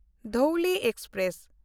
Dhauli express